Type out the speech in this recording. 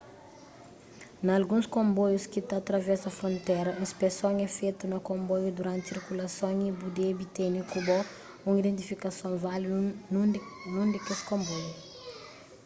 na alguns konboius ki ta travesa frontera inspeson é fetu na konboiu duranti sirkulason y bu debe tene ku bo un identifikason válidu nun des konboiu